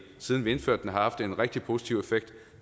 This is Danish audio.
siden vi indførte den har haft en rigtig positiv effekt